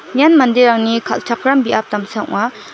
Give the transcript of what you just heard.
ian manderangni kal·chakram biap damsa ong·a.